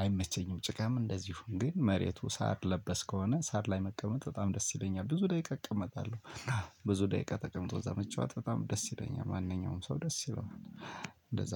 አይመቸኝም ጭቃም እንደዚሁ ግን መሬቱ ሳር ለበስ ከሆነ ሳር ላይ መቀመጥ በጣም ደስ ይለኛል ብዙ ደቂቃ እቀመጣለሁ። ብዙ ደቂቃ ተቀምጦ እዛ መጫወት በጣም ደስ ይለኛል ማንኛውም ሰው ደስ ይለዋል።